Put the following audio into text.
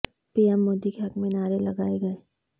پی ایم مودی کے حق میں نعرے لگائے گئے